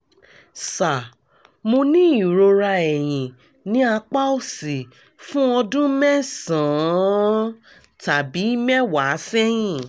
sir mo ní ìrora ẹ̀yìn ní apá òsì fún ọdún mẹ́sàn-án tàbí mẹ́wàá sẹ́yìn